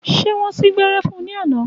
Ṣé wọn sín gbẹ́rẹ́ fún ní àná?